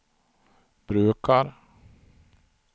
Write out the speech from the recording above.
brukar